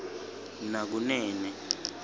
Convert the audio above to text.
nakunene